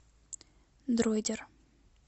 дроидер